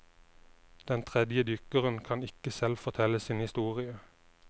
Den tredje dykkeren kan ikke selv fortelle sin historie.